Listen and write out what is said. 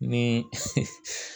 Ni